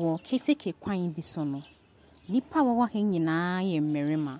Wɔ keteke kwan bi so no, nnipa wɔwɔ ha nyinaa yɛ mmarima,